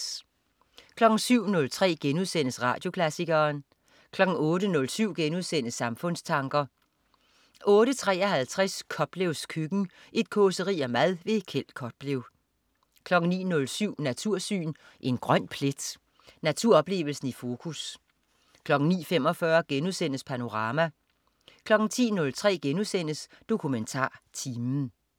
07.03 Radioklassikeren* 08.07 Samfundstanker* 08.53 Koplevs køkken. Et causeri om mad. Kjeld Koplev 09.07 Natursyn. En grøn plet. Naturoplevelsen i fokus 09.45 Panorama* 10.03 DokumentarTimen*